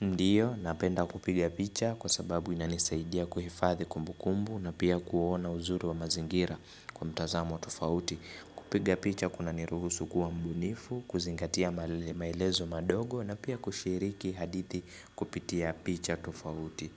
Ndiyo, napenda kupiga picha kwa sababu inanisaidia kuhifadhi kumbukumbu na pia kuona uzuri wa mazingira kwa mtazamo tofauti kupiga picha kuna niruhusu kuwa mbunifu, kuzingatia maelezo madogo na pia kushiriki hadithi kupitia picha tofauti.